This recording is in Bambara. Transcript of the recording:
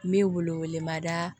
N bɛ wele wele mada